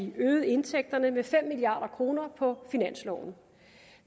øge indtægterne med fem milliard kroner på finansloven